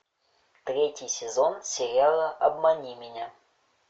третий сезон сериала обмани меня